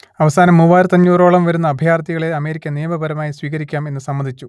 അവസാനം മൂവായിരത്തിയഞ്ഞൂറ് ഓളം വരുന്ന അഭയാർത്ഥികളെ അമേരിക്ക നിയമപരമായി സ്വീകരിക്കാം എന്നു സമ്മതിച്ചു